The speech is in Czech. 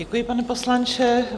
Děkuji, pane poslanče.